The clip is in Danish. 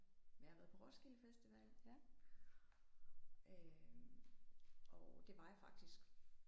Men jeg har været på Roskilde Festival øh og det var jeg faktisk